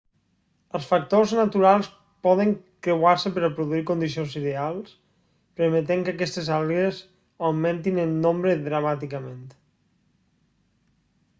els factors naturals poden creuar-se per a produir condicions ideals permetent que aquestes algues augmentin en nombre dramàticament